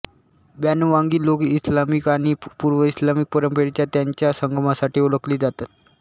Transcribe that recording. बॅनुवांगी लोक इस्लामिक आणि पूर्वइस्लामिक परंपरेच्या त्यांच्या संगमासाठी ओळखले जातात